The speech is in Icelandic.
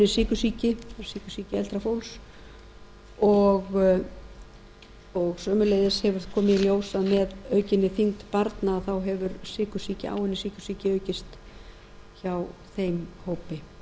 sykursýki sykursýki eldra fólks og sömuleiðis hefur komið í ljós að með aukinni þyngd barna þá hefur áunnin sykursýki aukist hjá þeim hópi þannig að